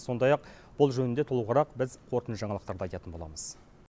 сондай ақ бұл жөнінде толығырақ біз қорытынды жаңалықтарда айтатын боламыз